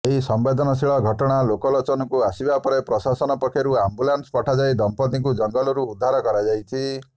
ଏହି ସମ୍ବେଦନଶୀଳ ଘଟଣା ଲୋକଲୋଚନକୁ ଆସିବା ପରେ ପ୍ରଶାସନ ପକ୍ଷରୁ ଆମ୍ବୁଲାନ୍ସ ପଠାଯାଇ ଦମ୍ପତିଙ୍କୁ ଜଙ୍ଗଲରୁ ଉଦ୍ଧାର କରାଯାଇଛି